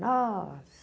Nossa!